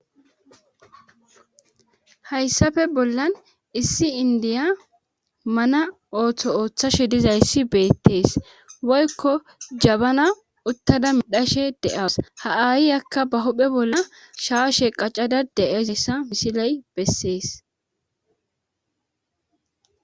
hayssafe bollan issi indiya mana ooththo ooththashe dizayssi beettees woykko jabana uttada midhashe de7as ha aayi akka ba huphe bolla shaashe qaccada de7ezessa misiley bessees